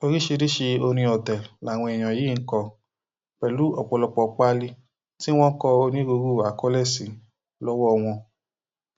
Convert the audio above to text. oríṣiríṣiì orin ọtẹ làwọn èèyàn yìí ń kọ pẹlú ọpọlọpọ páálí tí wọn kọ onírúurú àkọlé sí lọwọ wọn